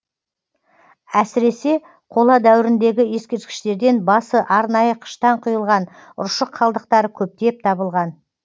әсіресе қола дәуіріндегі ескерткіштерден басы арнайы қыштан құйылған ұршық қалдықтары көптеп табылған